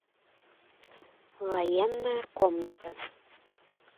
военная комната